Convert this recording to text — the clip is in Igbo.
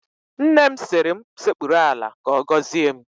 Nne m sịrị m sekpuru ala ka ọ gọzie m